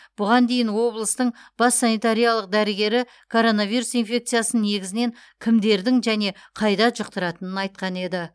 бұған дейін облыстың бас санитариялық дәрігері коронавирус инфекциясын негізінен кімдердің және қайда жұқтыратынын айтқан еді